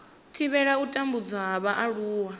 thivhela u tambudzwa ha vhaaluwa